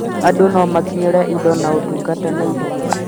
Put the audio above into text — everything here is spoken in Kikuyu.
andũ nomakinyĩre indo na ũtungata naihenya